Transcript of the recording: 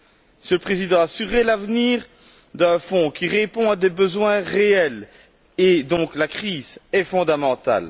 Monsieur le Président, assurer l' avenir d'un fonds qui répond à des besoins réels, et donc à la crise, est fondamental.